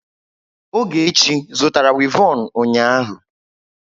Ogechi zụtara wivọnụ ụnyahụ?